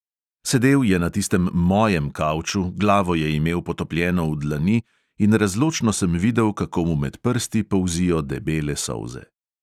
Sedel je na tistem "mojem" kavču, glavo je imel potopljeno v dlani in razločno sem videl, kako mu med prsti polzijo debele solze.